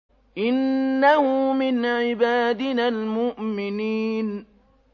إِنَّهُ مِنْ عِبَادِنَا الْمُؤْمِنِينَ